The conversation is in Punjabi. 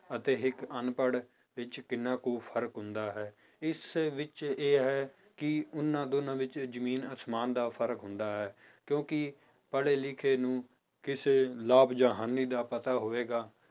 ਅਤੇ ਇੱਕ ਅਨਪੜ੍ਹ ਵਿੱਚ ਕਿੰਨਾ ਕੁ ਫ਼ਰਕ ਹੁੰਦਾ ਹੈ ਇਸ ਵਿੱਚ ਇਹ ਹੈ ਕਿ ਉਹਨਾਂ ਦੋਨਾਂ ਵਿੱਚ ਜ਼ਮੀਨ ਅਸਮਾਨ ਦਾ ਫ਼ਰਕ ਹੁੰਦਾ ਹੈ ਕਿਉਂਕਿ ਪੜ੍ਹੇ ਲਿਖੇ ਨੂੰ ਕਿਸੇ ਲਾਭ ਜਾਂ ਹਾਨੀ ਦਾ ਪਤਾ ਹੋਵੇਗਾ